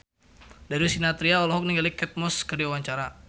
Darius Sinathrya olohok ningali Kate Moss keur diwawancara